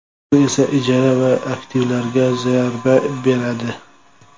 Bu esa ijara va aktivlarga zarba beradi.